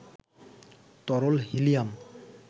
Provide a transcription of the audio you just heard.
তরল হিলিয়াম